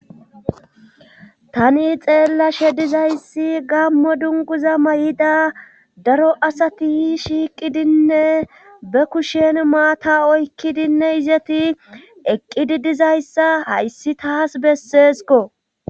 tani xeellashe dizayssi gammo dunguza may7ida daro asati shiiqidinne be kushen maata oykkidinne izeti eqqidi dizayssa hayssi taas besseesiko